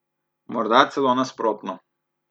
Morda celo nasprotno.